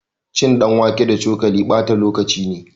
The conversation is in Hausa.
Cin ɗanwake da cokali ɓata lokaci ne